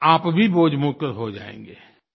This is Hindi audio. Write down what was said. आप भी बोझमुक्त हो जाएँगे